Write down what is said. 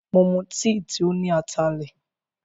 Mo mu tìì tí óní atalẹ̀.